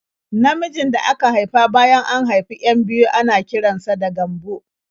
Namijin da aka haifa bayan an haifi 'yan biyu ana kiran sa da Gambo.